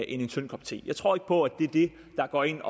en tynd kop te jeg tror ikke på at det er det der går ind